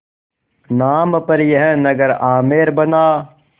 नाम पर यह नगर आमेर बना